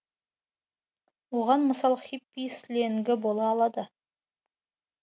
оған мысал хиппи сленгі бола алады